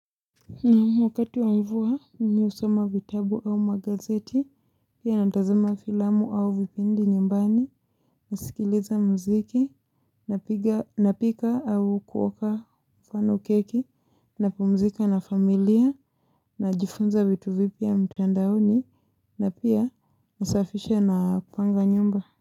Na wakati wa mvua, mimi husoma vitabu ama gazeti, pia natazama filamu au vipindi nyumbani, nasikiliza mziki, napika au kuoka fano keki, napumzika na familia, najifunza vitu vipia mtandaoni, na pia nasafisha napanga nyumba.